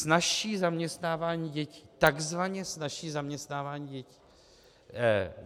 Snazší zaměstnávání dětí, takzvaně snazší zaměstnávání dětí.